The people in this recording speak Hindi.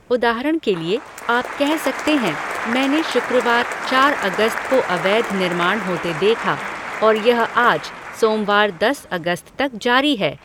उदाहरण के लिए, आप कह सकते हैं, "मैंने शुक्रवार, चार अगस्त को अवैध निर्माण होते देखा और यह आज, सोमवार, दस अगस्त तक जारी है।"